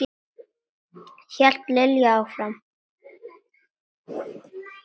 hélt Lilla áfram.